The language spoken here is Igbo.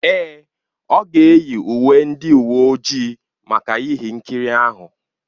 Èè, ọ ga-eyi uwe ndị uwe ojii maka ihe nkiri ahụ.